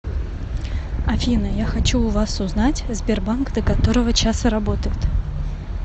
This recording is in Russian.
афина я хочу у вас узнать сбербанк до которого часа работает